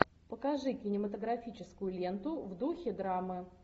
покажи кинематографическую ленту в духе драмы